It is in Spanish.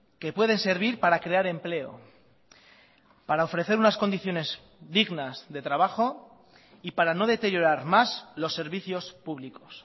que pueden servir para crear empleo para ofrecer unas condiciones dignas de trabajo y para no deteriorar más los servicios públicos